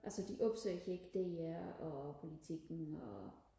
altså de opsøger ikke DR og Politiken og